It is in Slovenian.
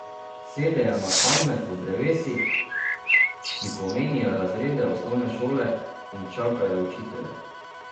Sedejo na kamne pod drevesi, ki pomenijo razrede osnovne šole, in čakajo učitelje.